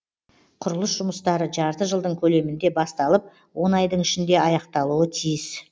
құрылыс жұмыстары жарты жылдың көлемінде басталып он айдың ішінде аяқталуы тиіс